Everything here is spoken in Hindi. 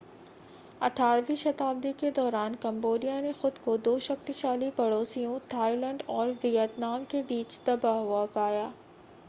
18वीं शताब्दी के दौरान कम्बोडिया ने खुद को दो शक्तिशाली पड़ोसियों थाईलैंड और वियतनाम के बीच दबा हुआ पाया